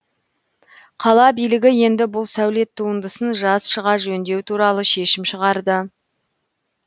қала билігі енді бұл сәулет туындысын жаз шыға жөндеу туралы шешім шығарды